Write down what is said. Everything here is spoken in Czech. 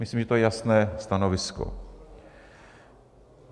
Myslím, že to je jasné stanovisko.